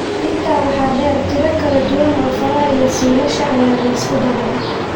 Intaa waxaa dheer, tiro kala duwan oo faraha iyo suulasha ah ayaa la isku daray ( syndactylka).